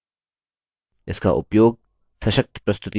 इसका उपयोग सशक्त प्रस्तुति को तैयार करने के लिए किया जाता है